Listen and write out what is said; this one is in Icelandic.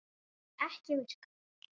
Það sem ekki virkar